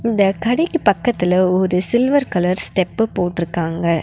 இந்த கடைக்கு பக்கத்துல ஒரு சில்வர் கலர் ஸ்டெப்பு போட்ருக்காங்க.